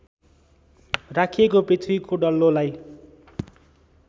राखिएको पृथ्वीको डल्लोलाई